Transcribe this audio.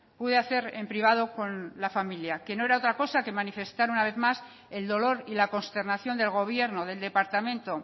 puede hacer en privado con la familia que no era otra cosa que manifestar una vez más el dolor y la consternación del gobierno del departamento